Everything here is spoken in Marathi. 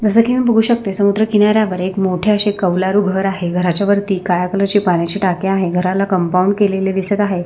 जसं की मी बघू शकते समुद्र किनाऱ्यवर एक मोठे असे कवलारू घर आहे घरच्या वरती काळ्या कलर ची पाण्याची टाकी आहे घरच्या भवती कंपाऊंड केलेले आहे.